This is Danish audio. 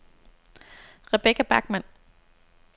Rebekka Bachmann